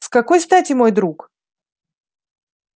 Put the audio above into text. с какой стати мой дорогой друг